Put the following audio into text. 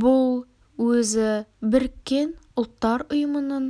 бұл өзі біріккен ұлттар ұйымының